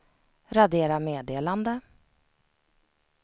radera meddelande